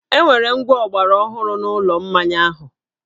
E nwere ngwá ọgbaraọhụrụ n’ụlọ mmaya ahụ